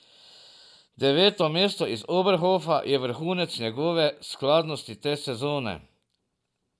Deveto mesto iz Oberhofa je vrhunec njegove skladnosti te sezone.